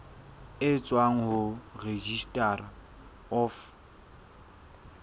e tswang ho registrar of